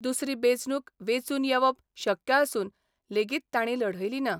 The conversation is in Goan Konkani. दुसरी बेंचणूक वेंचून येबप शक्य आसून लेगीत तांणी लढयली ना.